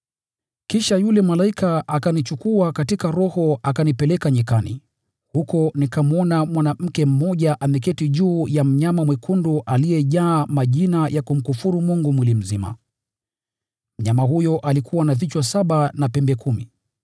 Kisha yule malaika akanichukua katika Roho akanipeleka jangwani. Huko nikamwona mwanamke mmoja ameketi juu ya mnyama mwekundu aliyejaa majina ya kumkufuru Mungu mwili mzima. Mnyama huyo alikuwa na vichwa saba na pembe kumi.